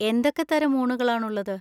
എന്തൊക്കെ തരം ഊണുകളാണുള്ളത്?